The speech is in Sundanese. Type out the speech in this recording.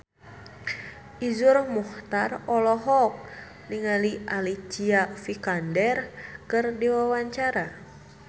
Iszur Muchtar olohok ningali Alicia Vikander keur diwawancara